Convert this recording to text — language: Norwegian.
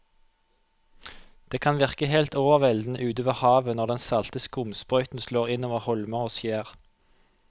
Det kan virke helt overveldende ute ved havet når den salte skumsprøyten slår innover holmer og skjær.